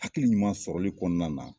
Hakili ɲuman sɔrɔli kɔnɔna na